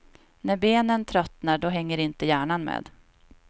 När benen tröttnar, då hänger inte hjärnan med.